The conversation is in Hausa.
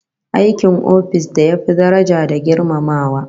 Aikin office da ya fi daraja da girmamawa